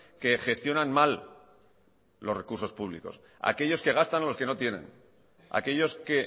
que gestionan mal los recursos públicos aquellos que gastan los que no tienen aquellos que